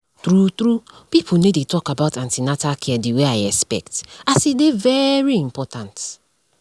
true true pipo no dey talk about an ten atal care the way i expect as e dey very important